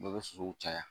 Bɛɛ bɛ sosow caya